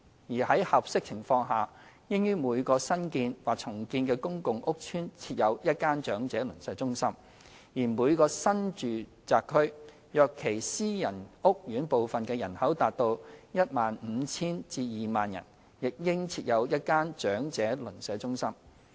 而在合適情況下，應於每個新建或重建的公共屋邨設有一間長者鄰舍中心；而每個新住宅區，若其私人屋苑部分的人口達 15,000 至 20,000 人，亦應設有一間長者鄰舍中心。